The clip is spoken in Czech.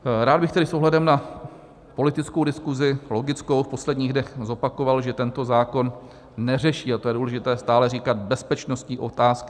Rád bych tedy s ohledem na politickou diskuzi, logickou v posledních dnech, zopakoval, že tento zákon neřeší - a to je důležité stále říkat - bezpečnostní otázky.